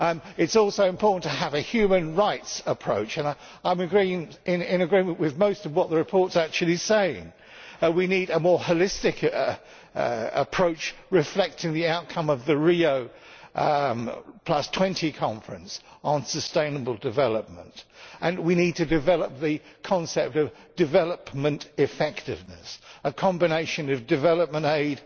It is also important to have a human rights approach, and I am in agreement with most of what the report says. We need a more holistic approach reflecting the outcome of the Rio20 Conference on sustainable development, and we need to develop the concept of development effectiveness a combination of development aid,